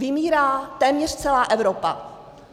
Vymírá téměř celá Evropa.